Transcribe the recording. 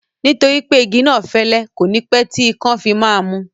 Nítorí pé igi náà fẹ́lẹ́, kò ní pẹ́ tí ikán fi máa mú